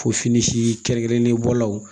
Ko fini si kɛrɛnkɛrɛnnen bɔlaw